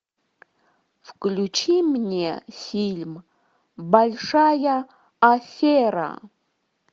включи мне фильм большая афера